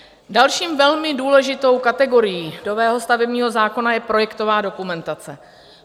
Další velmi důležitou kategorií nového stavebního zákona je projektová dokumentace.